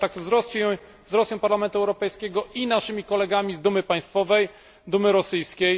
kontaktów z Rosją Parlamentu Europejskiego i naszymi kolegami z Dumy Państwowej, Dumy rosyjskiej.